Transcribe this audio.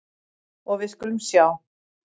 Og við skulum sjá.